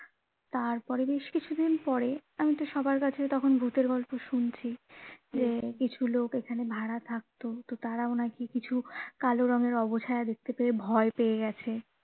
তারপরে বেশ কিছু দিন পরে আমি তো সবার কাছে তখন ভূতের গল্প শুনছি যে কিছু লোক এখানে ভাড়া থাকতো তো তারাও নাকি কিছু কালো রঙের অবছায়া দেখতে পেয়ে ভয় পেয়ে গেছে.